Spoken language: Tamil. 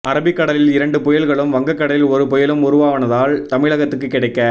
அரபி கடலில் இரண்டு புயல்களும் வங்க கடலில் ஒரு புயலும் உருவானதால் தமிழகத்துக்கு கிடைக்க